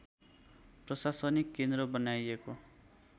प्रशासनिक केन्द्र बनाइएको